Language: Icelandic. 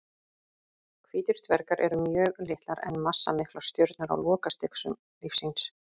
Hvítir dvergar eru mjög litlar en massamiklar stjörnur á lokastigum lífs síns.